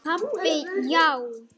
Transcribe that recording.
Pabbi, já!